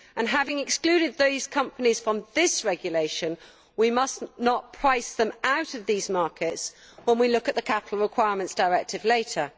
Having excluded these companies from this regulation, we must not price them out of these markets when we look at the Capital Requirements Directive later.